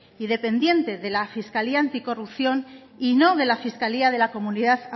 y dependiente de la fiscalía anticorrupción y no de la fiscalía de la comunidad